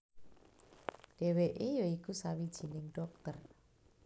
Dheweke ya iku sawijining dhokter